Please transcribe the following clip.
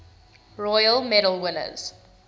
royal medal winners